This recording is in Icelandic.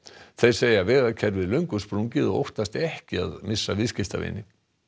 þeir segja vegakerfið löngu sprungið og óttast ekki að missa viðskiptavini